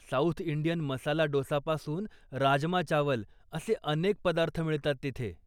South Indian masala डोसापासून राजमा चावल असे अनेक पदार्थ मिळतात तिथे.